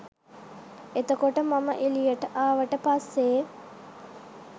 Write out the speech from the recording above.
එතකොට මම එළියට ආවට පස්සේ